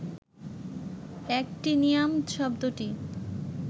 actinium শব্দটি